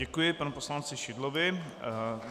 Děkuji panu poslanci Šidlovi.